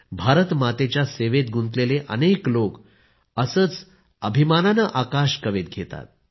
भारतमातेच्या सेवेत गुंतलेले अनेक लोक रोज असेच अभिमानाने आकाश कवेत घेतात